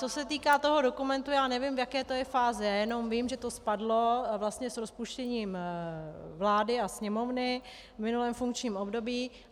Co se týká toho dokumentu, tak nevím, v jaké to je fázi, jenom vím, že to spadlo vlastně s rozpuštěním vlády a Sněmovny v minulém funkčním období.